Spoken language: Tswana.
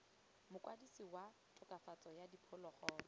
mokwadise wa tokafatso ya diphologolo